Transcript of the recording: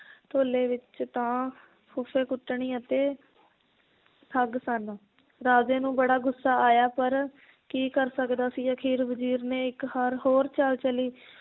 ਢੋਲੇ ਵਿਚ ਤਾਂ ਫੁੱਫੇ ਕੁੱਟਣੀ ਅਤੇ ਠੱਗ ਸਨ ਰਾਜੇ ਨੂੰ ਬੜਾ ਗੁੱਸਾ ਆਇਆ ਪਰ ਕੀ ਕਰ ਸਕਦਾ ਸੀ, ਅਖੀਰ ਵਜ਼ੀਰ ਨੇ ਇੱਕ ਹਾਰ ਹੋਰ ਚਾਲ ਚੱਲੀ